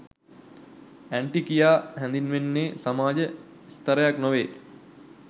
Aunty කියා හැඳින්වෙන්නේ සමාජ ස්ථරයක් නොවේ.